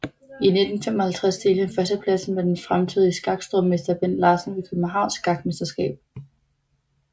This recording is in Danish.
I 1955 delte han førstepladsen med den fremtidige skakstormester Bent Larsen ved Københavns Skakmesterskab